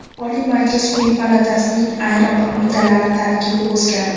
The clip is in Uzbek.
Oliy Majlis quyi palatasining ayrim qo‘mitalari tarkibi o‘zgardi.